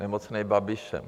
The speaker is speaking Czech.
Nemocnej Babišem.